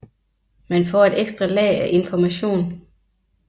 Man får et ekstra lag af information